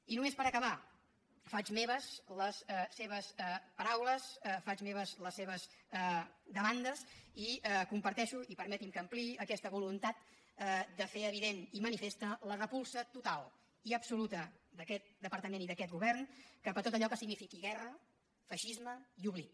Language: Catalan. i només per acabar faig meves les seves paraules faig meves les seves demandes i comparteixo i permeti’m que ho ampliï aquesta voluntat de fer evident i manifesta la repulsa total i absoluta d’aquest departament i d’aquest govern cap a tot allò que signifiqui guerra feixisme i oblit